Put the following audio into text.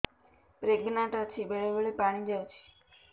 pregnant ଅଛି ବେଳେ ବେଳେ ପାଣି ଯାଉଛି